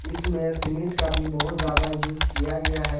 इसमें सीमेंट का भी बहुत ज्यादा यूज किया गया है।